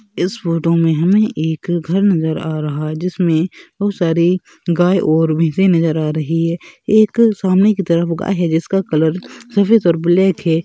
इस फ़ोटो में हमे एक घर नजर आ रहा है जिसमें बहुत सारी गाय और भैंसें नजर आ रही हैं एक सामने की तरफ गाय है जिसका कलर सफेद और ब्लैक है।